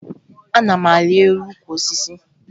Ana m arị elu ukwu osisi